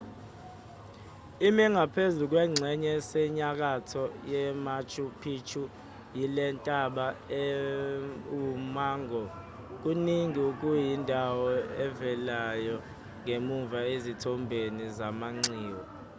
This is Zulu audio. ime ngaphezu kwengxenye esenyakatho yemachu picchu yilentaba ewummango kaningi okuyindawo evelayo ngemuva ezithombeni zamanxiwa